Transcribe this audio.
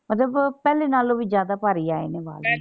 ਮਤਲਬ ਪਹਿਲੇ ਨਾਲੋਂ ਵੀ ਜ਼ਿਆਦਾ ਭਾਰੀ ਆਏ ਨੇ ਵਾਲ।